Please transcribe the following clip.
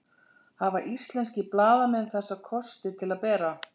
Hafa íslenskir blaðamenn þessa kosti til að bera?